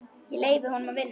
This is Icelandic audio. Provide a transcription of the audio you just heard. Ég leyfi honum að vinna.